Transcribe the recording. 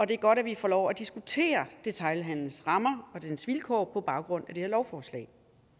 det er godt at vi får lov at diskutere detailhandelens rammer og dens vilkår på baggrund af det her lovforslag